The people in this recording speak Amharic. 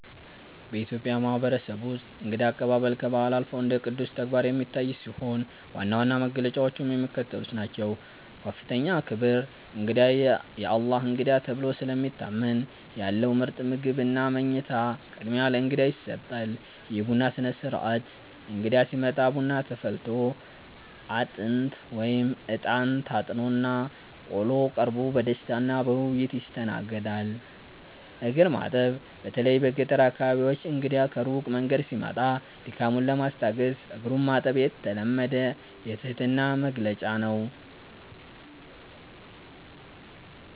በኢትዮጵያ ማህበረሰብ ውስጥ እንግዳ አቀባበል ከባህል አልፎ እንደ ቅዱስ ተግባር የሚታይ ሲሆን፣ ዋና ዋና መገለጫዎቹም የሚከተሉት ናቸው፦ ከፍተኛ ክብር፦ እንግዳ "የአላህ እንግዳ" ተብሎ ስለሚታመን፣ ያለው ምርጥ ምግብና መኝታ ቅድሚያ ለእንግዳ ይሰጣል። የቡና ሥነ-ሥርዓት፦ እንግዳ ሲመጣ ቡና ተፈልቶ፣ አጥንት (እጣን) ታጥኖና ቆሎ ቀርቦ በደስታና በውይይት ይስተናገዳል። እግር ማጠብ፦ በተለይ በገጠር አካባቢዎች እንግዳ ከሩቅ መንገድ ሲመጣ ድካሙን ለማስታገስ እግሩን ማጠብ የተለመደ የትህትና መግለጫ ነው።